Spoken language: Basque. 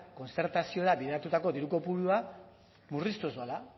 kontzertazioari bideratutako diru kopurua murriztuz doala